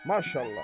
Maşallah.